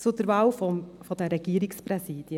Zur Wahl der Regierungspräsidien: